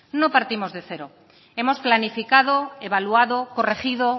no partimos de cero hemos planificado evaluado corregido